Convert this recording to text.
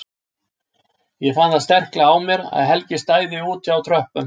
Ég fann það sterklega á mér að Helgi stæði úti á tröppum!